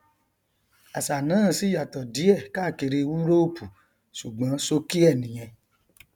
àṣà náà sì yàtọ díẹ káàkiri úróòpù ṣùgbọn ṣókí ẹ nìyẹn